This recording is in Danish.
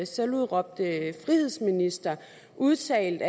selvudråbte frihedsminister udtalt